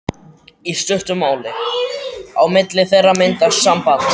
Í stuttu máli: á milli þeirra myndast samband.